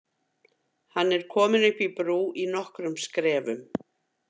Hann er kominn upp í brú í nokkrum skrefum.